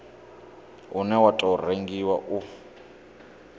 une wa tou rengiwa u